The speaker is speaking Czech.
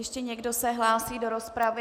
Ještě někdo se hlásí do rozpravy?